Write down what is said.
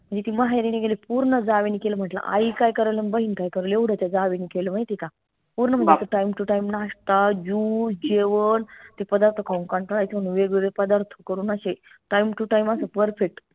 म्हनजे ती माहेरी नाई गेली पूर्ण जावेनी केलं म्हंटल आई काय करल अन बहीन काय करल येवढं त्या जावेनी केलं माहितीय का पूर्ण म्हणजे timetotimeनाश्ताjuice जेवन ते पदार्थ खाऊन कंटाळा येतो म्हणून वेगवेगळे पदार्थ करून अशे time to time असं perfect